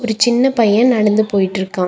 ஒரு சின்ன பையன் நடந்து போயிட்டுருக்கான்.